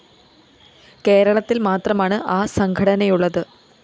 കേരളത്തില്‍ മാത്രമാണ് ആ സംഘടനയുള്ളത്